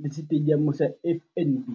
le Setediamo sa FNB.